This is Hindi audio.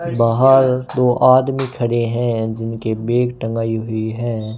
बाहर दो आदमी खड़े हैं जिनके बैग टंगाई हुई है।